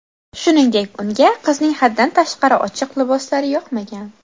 Shuningdek, unga qizning haddan tashqari ochiq liboslari yoqmagan.